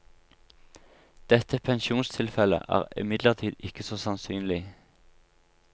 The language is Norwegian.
Dette pensjonstilfelle er imidlertid ikke så sannsynlig.